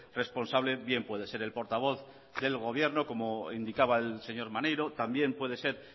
responsable bien puede ser el portavoz del gobierno como indicaba el señor maneiro también puede ser